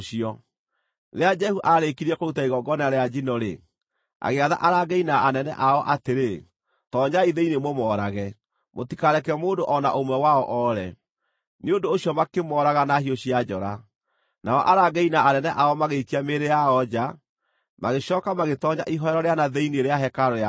Rĩrĩa Jehu aarĩkirie kũruta igongona rĩa njino-rĩ, agĩatha arangĩri na anene ao atĩrĩ, “Toonyai thĩinĩ mũmoorage; mũtikareke mũndũ o na ũmwe wao oore.” Nĩ ũndũ ũcio makĩmooraga na hiũ cia njora. Nao arangĩri na anene ao magĩikia mĩĩrĩ yao nja, magĩcooka magĩtoonya ihooero rĩa na thĩinĩ rĩa hekarũ ya Baali.